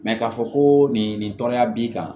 k'a fɔ ko nin nin tɔnya b'i kan